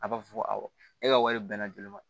A b'a fɔ ko awɔ e ka wari bɛnna joli ma